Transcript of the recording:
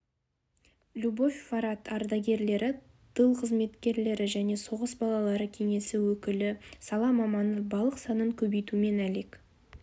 любовь форат ардагерлері тыл еңбеккерлері және соғыс балалары кеңесі өкілі сала мамандары балық санын көбейтумен әлек